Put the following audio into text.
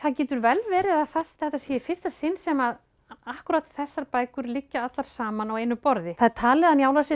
getur vel verið að þetta sé í fyrsta sinn sem að akkúrat þessar bækur liggja allar saman á einu borði það er talið að njála sé